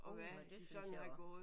Uha det synes jeg også